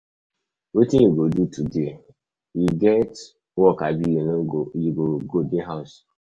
Wetin you go do today? You get work abi you go go dey house?